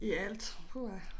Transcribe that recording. I alt puha